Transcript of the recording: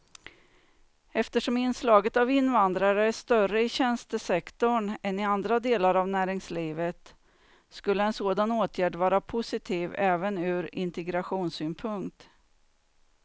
Eftersom inslaget av invandrare är större i tjänstesektorn än i andra delar av näringslivet skulle en sådan åtgärd vara positiv även ur integrationssynpunkt.